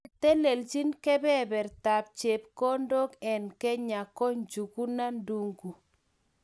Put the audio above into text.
Netelelchini kebebertab chepkondok eng Kenya ko Njuguna Ndung'u